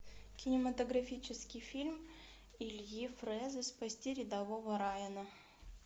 кинематографический фильм ильи фрэза спасти рядового райана